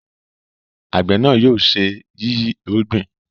àgbẹ̀ náà yóò ṣe yiyi irúgbìn